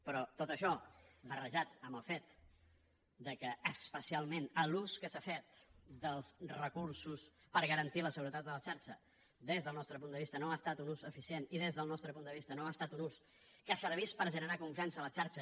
però tot això barrejat amb el fet que especialment l’ús que s’ha fet dels recursos per garantir la seguretat de la xarxa des del nostre punt de vista no ha estat un ús eficient i des del nostre punt de vista no ha estat un ús que servís per generar confiança a la xarxa